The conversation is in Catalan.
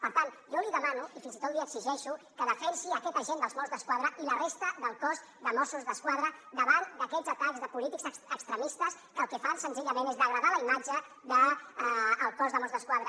per tant jo li demano i fins i tot li exigeixo que defensi aquest agent dels mossos d’esquadra i la resta del cos de mossos d’esquadra davant d’aquests atacs de polítics extremistes que el que fan senzillament és degradar la imatge del cos de mossos d’esquadra